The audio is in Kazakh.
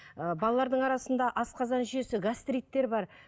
ы балалардың арасында асқазан жүйесі гастриттер бар